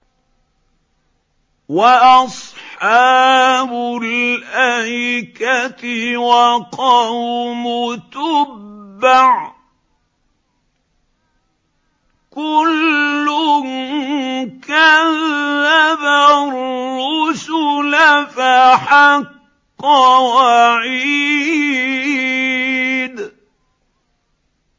وَأَصْحَابُ الْأَيْكَةِ وَقَوْمُ تُبَّعٍ ۚ كُلٌّ كَذَّبَ الرُّسُلَ فَحَقَّ وَعِيدِ